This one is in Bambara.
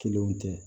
Kelenw tɛ